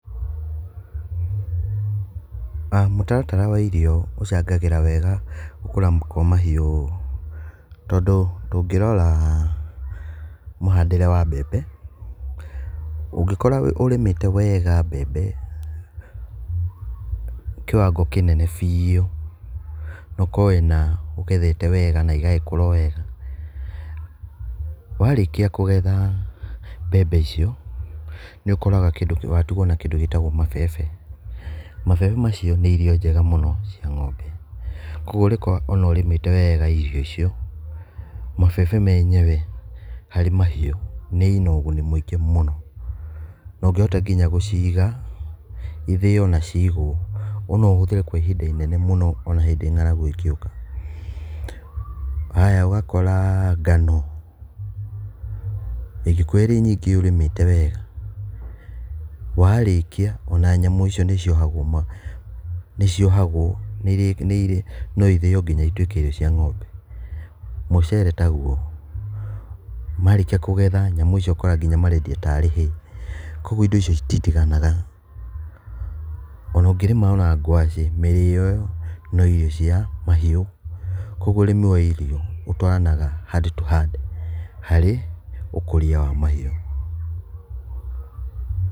Mũtaratara wa irio ũcangagĩra wega gũkũra kwa mahiũ tondũ tũngĩrora mũhandĩre wa mbembe ũngĩkora ũrĩmĩte wega mbembe kiwango kĩnene biũ na ũkorwo wĩ na ũgethete wega na igagĩkũra o wega warĩkia kũgetha mbembe icio nĩ ũkoraga kĩndũ kĩu watigwo na kĩndũ gĩtagwo mabebe. Mabebe macio nĩ irio njega mũno cia ng'ombe. Kwoguo ũrĩkorwa o na ũrĩmĩte wega irio icio mabebe menyewe harĩ mahiũ nĩ ina ũguni mwingĩ mũno na ũngĩhota nginya gũciga ithĩo na ciigwo o na ũhũthĩre kwa ihinda inene mũno o na hĩndĩ ng'aragu ĩngĩũka. Aya, ũgakora ngano, ĩngĩkorũo ĩrĩ nyingĩ ũrĩmĩte wega warĩkia o na nyamũ icio nĩciohagwo, nĩciohagwo no ithĩo nginya ituĩke irio cia ng'ombe. Mũcere taguo. Marĩkia kũgetha nyamũ icio ũkoraga nginya marendia ta arĩ hay kwoguo indo icio cititiganaga, o na ũngĩrĩma o na ngwacĩ, mĩrĩo ĩo no irio cia mahiũ kwoguo ũrĩmi wa irio ũtwaranaga hand to hand harĩ ũkũria wa mahiũ.